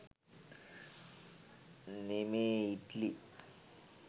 නෙමේ ඉට්ලි